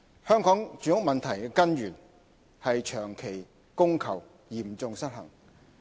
香港住屋問題的根源是長期供求嚴重失衡。